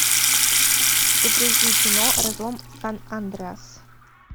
загрузи кино разлом сан андреас